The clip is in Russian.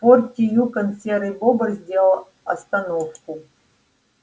в форте юкон серый бобр сделал остановку